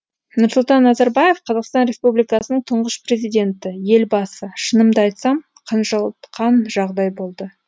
нұрсұлтан назарбаев қазақстан республикасының тұңғыш президенті елбасы шынымды айтсам қынжылтқан жағдай болды